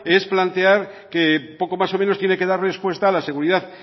es plantear que poco más o menos tiene que dar respuesta a la seguridad